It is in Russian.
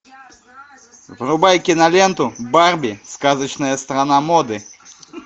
врубай киноленту барби сказочная страна моды